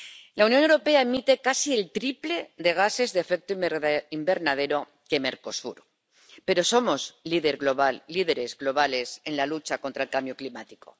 La Unión Europea emite casi el triple de gases de efecto invernadero que Mercosur, pero somos líderes globales en la lucha contra el cambio climático.